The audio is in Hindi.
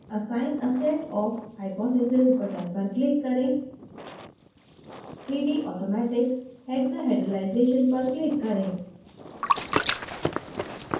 assign a set of hypotheses button पर click करें 3d: automatic hexahedralization पर click करें